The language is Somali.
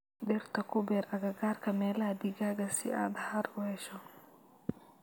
Dhirta ku beer agagaarka meelaha digaagga si aad hadh u siiso.